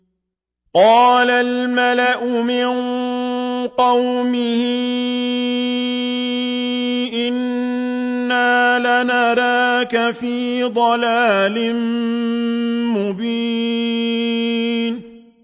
قَالَ الْمَلَأُ مِن قَوْمِهِ إِنَّا لَنَرَاكَ فِي ضَلَالٍ مُّبِينٍ